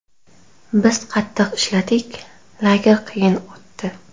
Biz qattiq ishladik, lager qiyin o‘tdi.